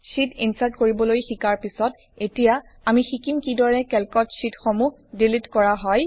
sheet insert কৰিবলৈ শিকাৰ পিছত এতিয়া আমি শিকিম কিদৰে কেল্কত শ্বিটসমূহ ডিলিট কৰা হয়